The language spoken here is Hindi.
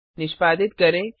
निष्पादित करें